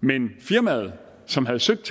men firmaet som havde søgt